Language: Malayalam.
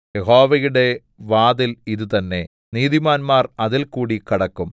യഹോവയുടെ വാതിൽ ഇതുതന്നെ നീതിമാന്മാർ അതിൽകൂടി കടക്കും